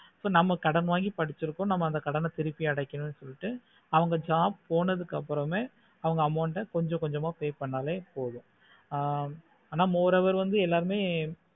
so நம்ம கடன் வாங்கி படிச்சி இருக்கோ நம்ம அந்த கடனை திரும்பி அடக்கணும் சொல்லிட்டு அவங்க job போனதுக்கு அப்பறமா அவங்க amount ஆஹ் கொஞ்சம் கொஞ்சமா pay பண்ணலே போதும் ஆஹ் அனா more over வந்து எல்லாமே